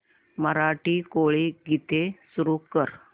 मराठी कोळी गीते सुरू कर